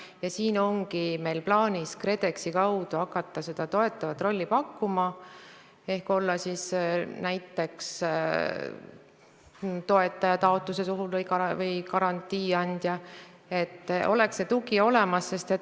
Ja siin ongi meil plaanis hakata KredExi kaudu seda toetavat rolli pakkuma ehk olla näiteks toetaja taotluse puhul või garantii andja, et tugi oleks olemas.